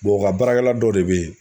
o ka baarakɛla dɔw de bɛ yen.